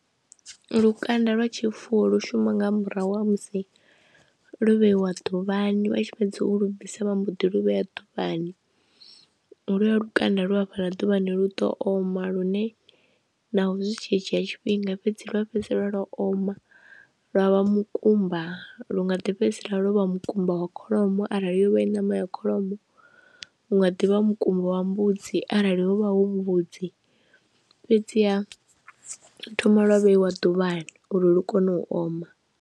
Lukanda lwa tshifuwo lu shuma nga murahu ha musi lo vheiwa ḓuvhani vha tshi fhedza u lugisa vha mboḓi lu vhea ḓuvhani, holuya lukanda lu hafhaḽa ḓuvhani lu ḓo oma lune naho zwi tshi dzhiya tshifhinga fhedzi lwa fhedzisela lwa oma lwa vha mukumba, lu nga ḓi fhedzisela lwo vha mukumba wa kholomo arali yo vha i ṋama ya kholomo, hu nga ḓivha mukumba wa mbudzi arali hu vha hu mavhudzi fhedziha thoma lwa vheiwa ḓuvhani uri lu kone u oma.